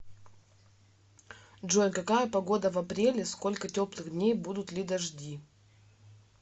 джой какая погода в апреле сколько теплых дней будут ли дожди